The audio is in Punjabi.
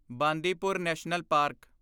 Bandipur national park